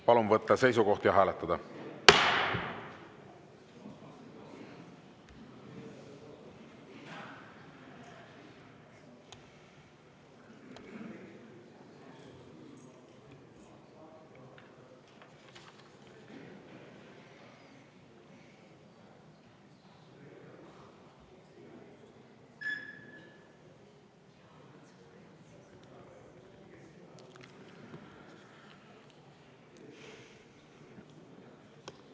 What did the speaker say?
Palun võtta seisukoht ja hääletada!